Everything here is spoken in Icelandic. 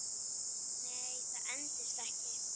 Nei, það endist ekki.